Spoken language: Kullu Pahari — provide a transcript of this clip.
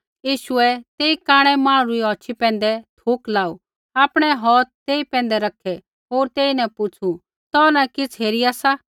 यीशुऐ तेई कांणै मांहणु रा हौथ ढौकू होर सौ ग्राँ बाहरै नेऊ यीशुऐ तेई कांणै मांहणु री औछ़ी पैंधै थुक लाऊ आपणै हौथ तेई पैंधै रखै होर तेईन पुछ़ू तौ न किछ़ हेरिया सा